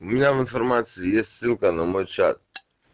у меня информации есть ссылка на мой чат